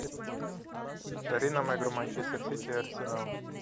повтори нам игру манчестер сити и арсенал